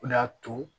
O de y'a to